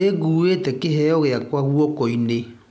Nĩngũĩte kĩheo gĩakwa gũokoinĩ.